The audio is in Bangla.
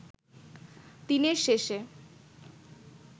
দিনের শেষে